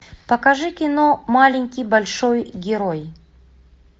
покажи кино маленький большой герой